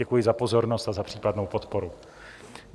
Děkuji za pozornost a za případnou podporu.